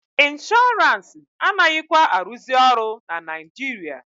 Inshọrance anaghịkwa arụzị ọrụ na Naijiria.